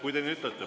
Kui te nii ütlete.